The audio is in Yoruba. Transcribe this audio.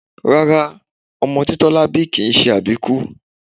Rárá, ọmọ tí Tọ́lá bí kìí se àbíkú